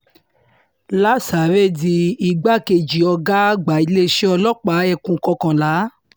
lasáré di igbákejì ọ̀gá àgbà iléeṣẹ́ ọlọ́pàá ekun kọkànlá